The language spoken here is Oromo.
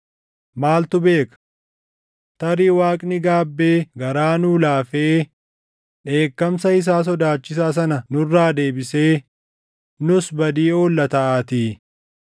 Maaltu beeka? Tarii Waaqni gaabbee garaa nuu laafee dheekkamsa isaa sodaachisaa sana nurraa deebisee, nuus badii oolla taʼaatii.”